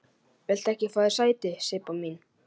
Viltu ekki fá þér sæti, Sibba mín?